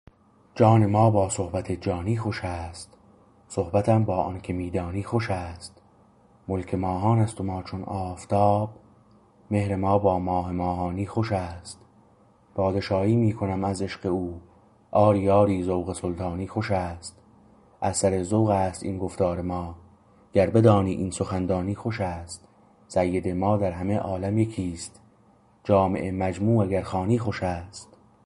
جان ما با صحبت جانی خوش است صحبتم با آنکه می دانی خوش است ملک ماهان است و ما چون آفتاب مهر ما با ماه ماهانی خوش است پادشاهی می کنم از عشق او آری آری ذوق سلطانی خوش است از سر ذوق است این گفتار ما گر بدانی این سخن دانی خوش است سید ما در همه عالم یکیست جامع مجموع اگر خوانی خوش است